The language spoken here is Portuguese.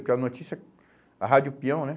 Porque a notícia, a rádio pião, né?